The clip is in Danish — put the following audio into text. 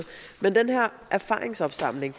erfaringsopsamling